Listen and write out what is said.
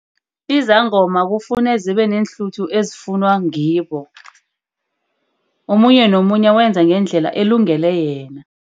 Izangoma kufune zibe neenhluthu ezifunwa ngibo. Omunye nomunye wenza ngendlela elungele yena.